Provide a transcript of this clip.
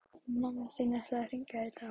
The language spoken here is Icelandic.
Mamma þín ætlaði að hringja í dag